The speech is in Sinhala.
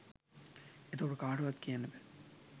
එතකොට කාටවත් කියන්න බෑ